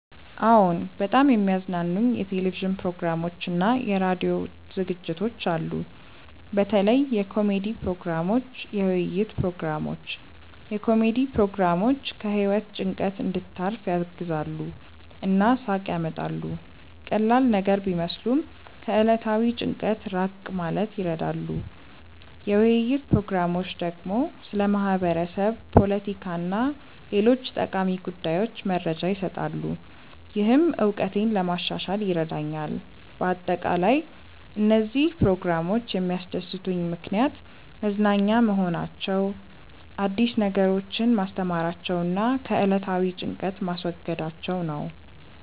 አዎን፣ በጣም የሚያዝናኑኝ የቴሌቪዥን ፕሮግራሞችና የራዲዮ ዝግጅቶች አሉ። በተለይ የኮሜዲ ፕሮግራሞች፣ የውይይት ፕሮግራሞች። የኮሜዲ ፕሮግራሞች ከህይወት ጭንቀት እንድታርፍ ያግዛሉ እና ሳቅ ያመጣሉ። ቀላል ነገር ቢመስሉም ከዕለታዊ ጭንቀት ራቅ ማለት ይረዳሉ። የውይይት ፕሮግራሞች ደግሞ ስለ ማህበረሰብ፣ ፖለቲካ እና ሌሎች ጠቃሚ ጉዳዮች መረጃ ይሰጣሉ፣ ይህም እውቀቴን ለማሻሻል ይረዳኛል በአጠቃላይ፣ እነዚህ ፕሮግራሞች የሚያስደስቱኝ ምክንያት መዝናኛ መሆናቸው፣ አዲስ ነገሮችን ማስተማራቸው እና ከዕለታዊ ጭንቀት ማስወገዳቸው ነው